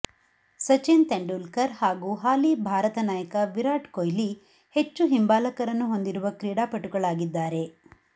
ಸಚಿನ್ ತೆಂಡುಲ್ಕರ್ ಹಾಗೂ ಹಾಲಿ ಭಾರತ ನಾಯಕ ವಿರಾಟ್ ಕೊಹ್ಲಿ ಹೆಚ್ಚು ಹಿಂಬಾಲಕರನ್ನು ಹೊಂದಿರುವ ಕ್ರೀಡಾಪಟುಗಳಾಗಿದ್ದಾರೆ